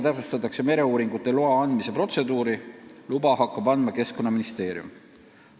Täpsustatakse mereuuringuloa andmise protseduuri: luba hakkab andma Keskkonnaministeerium.